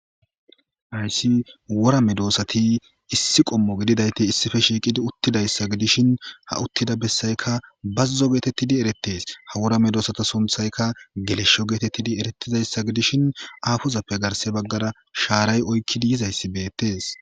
Haysi wora medosati issi qommo gididayti issippe shiqidi uttidaysa gidishin ha uttida besayka bazo getetidi eretetes Ha wora medosata sunthayka gelesho getetidi eretidsysa gidishin afozappe garsara sharay oykidi yizaysi betes